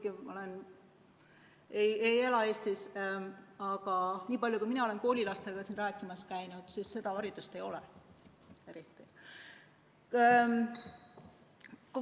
Ma küll ei ela Eestis, aga olen koolilastega siin rääkimas käinud ja tundub, et seda haridust ei ole eriti.